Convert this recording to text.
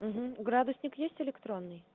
угу градусник есть электронный